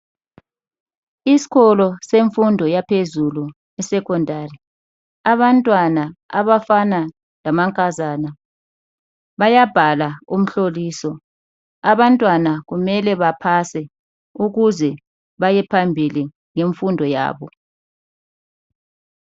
Isikolo semfundo yaphezulu iSecondary. Abantwana abafana lamankazana bayabhala umhloliso. Abantwana kumele bapase ukuze bayephambili ngemfundo yabo.